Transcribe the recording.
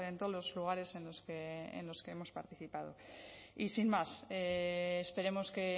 todos los lugares en los que hemos participado y sin más esperemos que